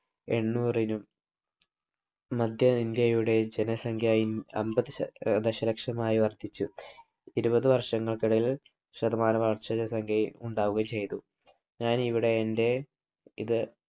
എണ്ണൂറിനും മധ്യ ഇന്ത്യയുടെ ജനസംഖ്യ അൻപതു ദശ ലക്ഷമായി വർധിച്ചു. ഇരുപതു വർഷങ്ങൾക്കിടയിൽ ശതമാനവളർച്ചയിൽ ഇത് ഉണ്ടാവുകയും ചെയ്തു. ഞാനിവിടെ എൻ്റെ ഇത്